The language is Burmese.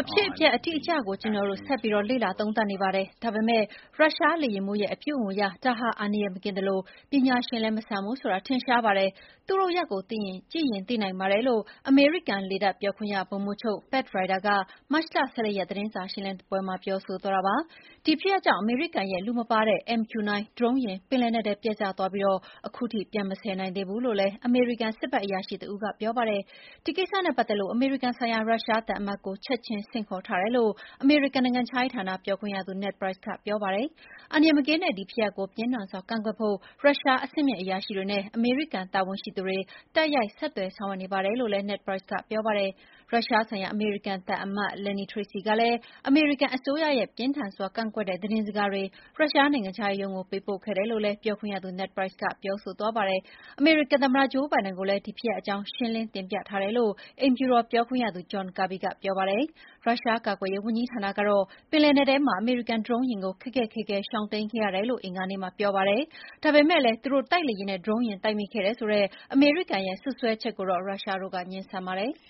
အဖြစ်အပျက်အတိအကျကို ကျနော်တို့ ဆက်ပြီးလေ့လာသုံးသပ်နေပါတယ်။ ဒါပေမယ့် ရုရှားလေယာဉ်မှူးရဲ့အပြုအမူအရ ဒါဟာ အန္တရာယ်မကင်းသလို ပညာရှင်လည်းမဆန်ဘူးဆိုတာထင်ရှားပါတယ်။ သူ့လုပ်ရပ်ကိုကြည့်ရင် သိနိုင်ပါတယ်။” လို့ အမေရိကန်လေတပ်ပြောခွင့်ရ ဗိုလ်မှူးချုပ် Pat Ryder က မတ်လ ၁၄ ရက် သတင်းစာရှင်းလင်းပွဲမှာပြောဆိုသွားတာပါ။ ဒီဖြစ်ရပ်ကြောင့် အမေရိကန်ရဲ့လူမပါတဲ့ MQ-9 ဒရုန်းယာဉ် ပင်လက်နက်ထဲ ပျက်ကျသွားပြီး ခုထိပြန်မဆယ်နိုင်သေးဘူးလို့လည်း အမေရိကန်စစ်ဖက်အရာရှိတဦး ကပြောပါတယ်။ ဒီကိစ္စနဲ့ပတ်သက်လို့ အမေရိကန်ဆိုင်ရာရုရှားသံအမတ်ကို ချက်ချင်း ဆင့်ခေါ်ထားတယ်လို့ အမေရိကန်နိုင်ငံခြားရေးဌာနပြောခွင့်ရ Ned Price ကပြောပါတယ်။ အန္တရာယ်မကင်းတဲ့ ဒီဖြစ်ရပ်ကို ပြင်းထန်စွာကန့်ကွက်ဖို့ ရုရှားအဆင့်မြင့်အရာရှိတွေနဲ့ အမေရိကန်တာဝန်ရှိသူတွေ တိုက်ရိုက်ဆက်သွယ်ဆောင်ရွက်နေတယ်လို့လည်း Ned Price က ပြောပါတယ်။ ရုရှားဆိုင်ရာအမေရိကန်သံအမတ် Lynne Tracy ကလည်း အမေရိကန်အစိုးရရဲ့ ပြင်းထန်စွာကန့်ကွက်တဲ့ သတင်းစကားတွေ ရုရှားနိုင်ငံခြားရေးရုံးကို ပေးပို့ခဲ့တယ်လို့လည်း ပြောခွင့်ရသူ Ned Price ကပြောပါတယ်။ အမေရိကန်သမ္မတ ဂျိုးဘိုင်ဒန်ကိုလည်း ဒီဖြစ်ရပ်အကြောင်း ရှင်းလင်းတင်ပြထားတယ်လို့ အိမ်ဖြူတော်ပြောခွင့်ရသူ John Kirby ကပြောပါတယ်။ ရုရှားကာကွယ်ရေးဝန်ကြီးဌာနကတော့ ပင်လယ်နက်ထဲမှာ အမေရိကန်ဒရုန်းယာဉ်ကို ခက်ခက်ခဲခဲရှောင်တိမ်းခဲ့ရတယ်လို့ အင်္ဂါနေ့မှာပြောပါတယ်။ ဒါပေမယ့်လည်း သူတို့တိုက်လေယာဉ်နဲ့ ဒရုန်းယာဉ်တိုက်မိခဲ့တယ်ဆိုတဲ့ အမေရိကန်ရဲ့ စွပ်စွဲချက်ကိုတော့ ရုရှားတို့က ငြင်းဆန်ပါတယ်။